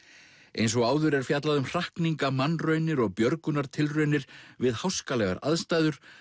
eins og áður er fjallað um hrakninga mannraunir og björgunartilraunir við háskalegar aðstæður